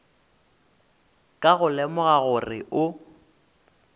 ka go lemoga gore o